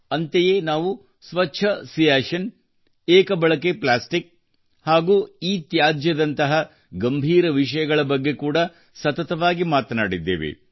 ಅಂತೆಯೇ ನಾವು ಸ್ವಚ್ಛ ಸಿಯಾಚಿನ್ ಏಕ ಬಳಕೆ ಪ್ಲಾಸ್ಟಿಕ್ ಹಾಗೂ ಇತ್ಯಾಜ್ಯದಂತಹ ಗಂಭೀರ ವಿಷಯಗಳ ಬಗ್ಗೆ ಕೂಡಾ ಸತತವಾಗಿ ಮಾತನಾಡಿದ್ದೇವೆ